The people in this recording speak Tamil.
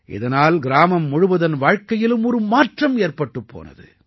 இதனால் கிராமம் முழுவதன் வாழ்க்கையிலும் ஒரு மாற்றம் ஏற்பட்டுப் போனது